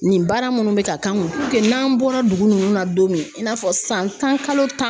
Nin baara minnu bɛ ka kan n'an bɔra dugu ninnu na don min i n'a fɔ san tan kalo tan.